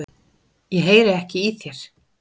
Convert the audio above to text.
Ég heyri ekki í þér.